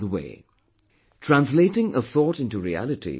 Translating a thought into reality was his forte'